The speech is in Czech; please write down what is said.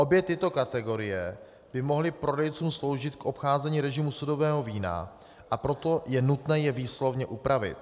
Obě tyto kategorie by mohly prodejcům sloužit k obcházení režimu sudového vína, a proto je nutné je výslovně upravit.